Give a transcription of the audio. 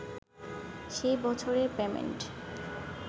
সেই বছরের পেমেন্ট